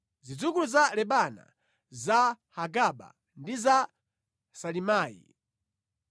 Zidzukulu za Lebana za Hagaba, ndi za Salimayi,